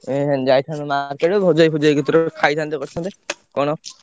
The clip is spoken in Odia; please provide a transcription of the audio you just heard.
ଏଖିନା ଯାଇଥାନ୍ତୁ market ଭଜି ଭାଇ ଫଜି ଭାଇ କତିରୁ ଖାଇଥାନ୍ତେ କରିଥାନ୍ତେ କଣ।